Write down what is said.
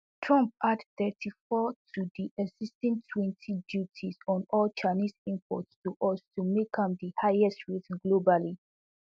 trump add thirty-four to di existing twenty duties on all chinese imports to us to make am di highest rate globally